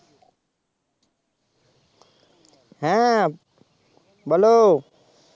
হ্যাঁ বলো